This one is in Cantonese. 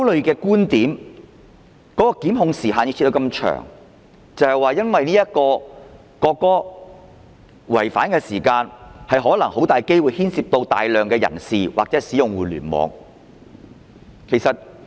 檢控時限設定得這麼長，原因是考慮到涉及國歌的違法行為很大機會牽涉大量人士或使用互聯網。